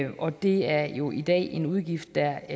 og det er jo i dag en udgift der